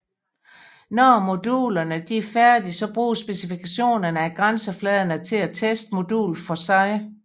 Når modulerne er færdige bruges specifikationerne af grænsefladerne til at teste modulet for sig